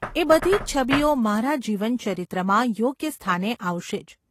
એ બધી જ છબીઓ મારા જીવનચરિત્રમાં યોગ્ય સ્થાને આવશે જ.